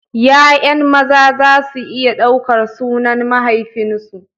Ya'yan maza za su iya ɗaukar sunan mahaifinsu.